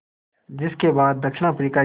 जिस के बाद दक्षिण अफ्रीका की